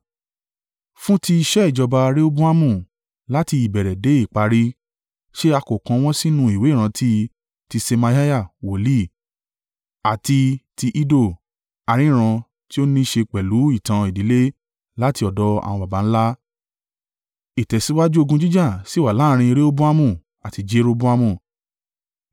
Fún tí iṣẹ́ ìjọba Rehoboamu láti ìbẹ̀rẹ̀ dé ìparí, ṣé a kò kọ wọ́n sínú ìwé ìrántí ti Ṣemaiah wòlíì àti ti Iddo, aríran tí ó ní ṣe pẹ̀lú ìtàn ìdílé láti ọ̀dọ̀ àwọn baba ńlá? Ìtẹ̀síwájú ogun jíjà sì wà láàrín Rehoboamu àti Jeroboamu.